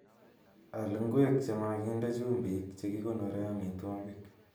Al ngweek chemaginde chumbiik chegikonoree amitwogik.